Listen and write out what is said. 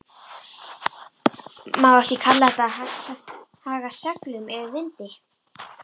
Má ekki kalla þetta að haga seglum eftir vindi?